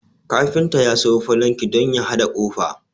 Kafinta ya sayo falanki don ya haɗa ƙofa